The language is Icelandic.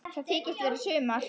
Það þykist vera sumar.